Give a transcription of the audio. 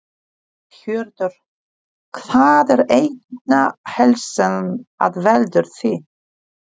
Hjörtur: Hvað er einna helst sem að veldur því?